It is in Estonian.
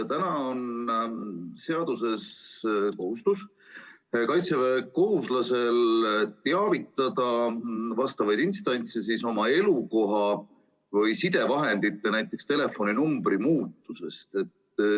Täna on seaduses kaitseväekohuslase kohustus teavitada vastavaid instantse oma elukoha või sidevahendite, näiteks telefoninumbri muutumisest.